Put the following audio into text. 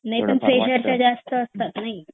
नाही पण फ्रेशर ला ते जास्त असतं की नाही